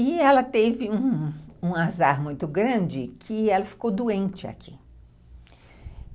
E ela teve um azar muito grande que ela ficou doente aqui.